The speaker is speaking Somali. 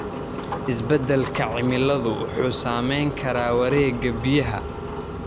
Isbedelka cimiladu wuxuu saameyn karaa wareegga biyaha.